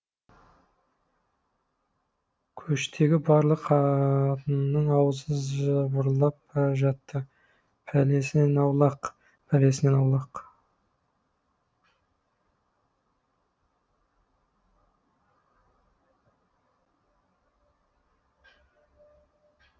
көштегі барлық қатынның аузы жыбырлап бара жатты пәлесінен аулақ пәлесінен аулақ